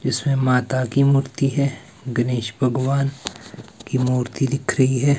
इसमें माता की मूर्ति है गणेश भगवान की मूर्ति दिख रही है।